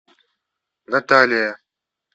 наталия